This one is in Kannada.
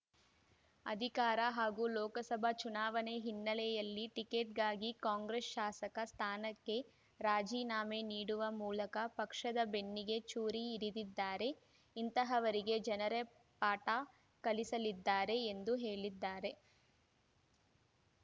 ಅಧಿಕಾರ ಹಾಗೂ ಲೋಕಸಭಾ ಚುನಾವಣೆ ಹಿನ್ನೆಲೆಯಲ್ಲಿ ಟಿಕೆಟ್‌ಗಾಗಿ ಕಾಂಗ್ರೆಸ್ ಶಾಸಕ ಸ್ಥಾನಕ್ಕೆ ರಾಜೀನಾಮೆ ನೀಡವ ಮೂಲಕ ಪಕ್ಷದ ಬೆನ್ನಿಗೆ ಚೂರಿ ಇರಿದಿದ್ದಾರೆ ಇಂತಹವರಿಗೆ ಜನರೇ ಪಾಠ ಕಲಿಸಲಿದ್ದಾರೆ ಎಂದು ಹೇಳಿದ್ದಾರೆ